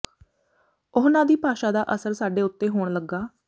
ਉਹਨਾਂ ਦੀ ਭਾਸ਼ਾ ਦਾ ਅਸਰ ਸਾਡੇ ਉੱਤੇ ਹੋਣ ਲੱਗਾ